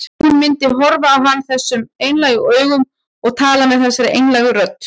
Hún myndi horfa á hann þessum einlægu augum og tala með þessari einlægu rödd.